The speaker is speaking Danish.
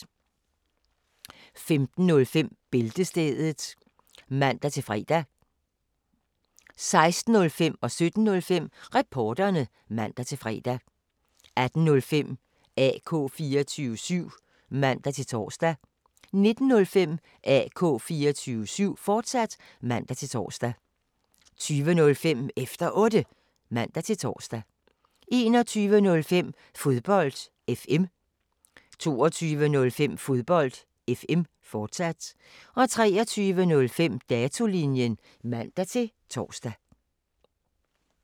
15:05: Bæltestedet (man-fre) 16:05: Reporterne (man-fre) 17:05: Reporterne (man-fre) 18:05: AK 24syv (man-tor) 19:05: AK 24syv, fortsat (man-tor) 20:05: Efter Otte (man-tor) 21:05: Fodbold FM 22:05: Fodbold FM, fortsat 23:05: Datolinjen (man-tor)